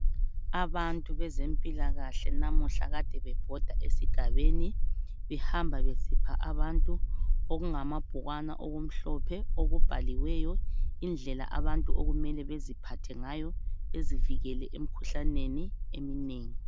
Abantu bezempilakahle namuhla kade bebhoda esigabeni behamba besipha abantu okungamabhukwana okumhlophe okubhaliweyo indlela abantu okumele beziphathe ngayo bezivikele emikhuhlaneni eminengi.